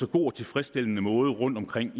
god og tilfredsstillende måde rundtomkring